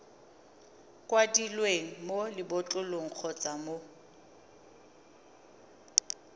kwadilweng mo lebotlolong kgotsa mo